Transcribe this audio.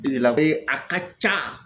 a ka ca.